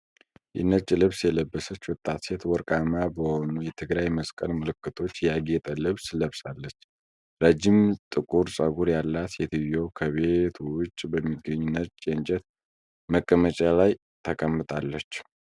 የነጭ ልብስ የለበሰች ወጣት ሴት ወርቃማ በሆኑ የትግራይ መስቀል ምልክቶች ያጌጠ ልብስ ለብሳለች። ረጅም ጥቁር ፀጉር ያላት ሴትዬው ከቤት ውጭ በሚገኝ ነጭ የእንጨት መቀመጫ ላይ ተቀምጣለች።